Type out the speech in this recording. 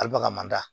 Alibaga man da